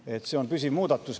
See võiks olla püsiv muudatus.